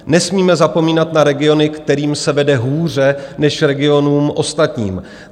Nesmíme zapomínat na regiony, kterým se vede hůře než regionům ostatním.